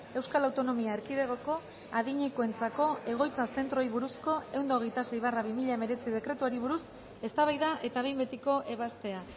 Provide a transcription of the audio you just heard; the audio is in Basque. euskal autonomia erkidegoko adinekoentzako egoitza zentroei buruzko ehun eta hogeita sei barra bi mila hemeretzi dekretuari buruz eztabaida eta behin betiko ebazpena